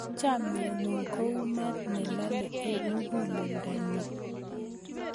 Chomye ng'ung' kou maat ne lalei eng' muguleldanyu.